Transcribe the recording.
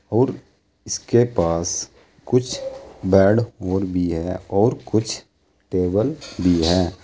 और इसके पास कुछ बेड और भी है और कुछ टेबल भी हैं।